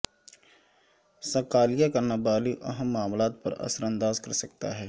Scalia کا نابالغ اہم معاملات پر اثر انداز کر سکتا ہے